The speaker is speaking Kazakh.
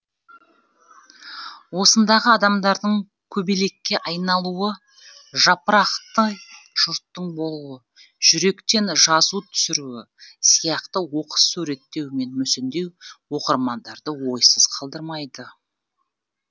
осындағы адамдардың көбелекке айналуы жапырақтай жұрттың болуы жүректен жазу түсіруі сияқты оқыс суреттеу мен мүсіндеу оқырмандарды ойсыз қалдырмайды